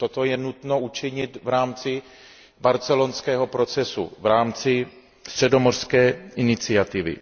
Toto je nutno učinit v rámci barcelonského procesu, v rámci středomořské iniciativy.